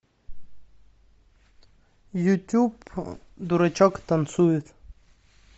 ютуб дурачок танцует